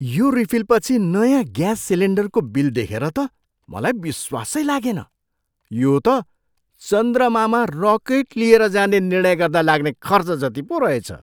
यो रिफिलपछि नयाँ ग्याँस सिलिन्डरको बिल देखेर त मलाई विश्वासै लागेन। यो त चन्द्रमामा रकेट लिएर जाने निर्णय गर्दा लाग्ने खर्च जति पो रहेछ!